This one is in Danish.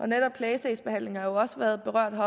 netop klagesagsbehandlingen har også været berørt